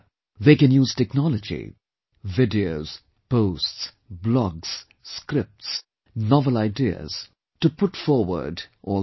They can use technology videos, posts, blogs, scripts, novel ideas to put forward all these